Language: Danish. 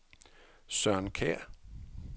Søren Kjær